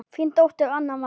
Þín dóttir, Anna María.